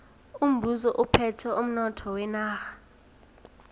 umbuso uphethe umnotho wenarha